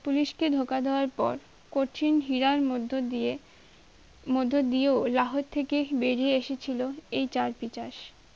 police কে ধোকা দেবার কঠিন হিয়ার মধ্য দিয়ে মধ্য দিয়েও লাহোর থেকে বেরিয়ে এসেছিল এই চারপিচার্স